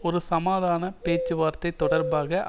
ஒரு சமாதான பேச்சுவார்த்தை தொடர்பாக